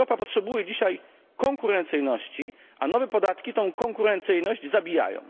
Europa potrzebuje dzisiaj konkurencyjności, a nowe podatki tę konkurencyjność zabijają.